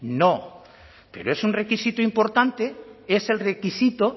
no pero es un requisito importante es el requisito